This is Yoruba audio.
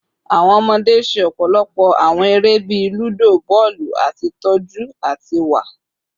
Awọn ọmọde ṣe ọpọlọpọ awọn ere bii ludo, bọọlu, ati tọju ati wa